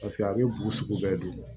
Paseke a bɛ bugu sugu bɛɛ don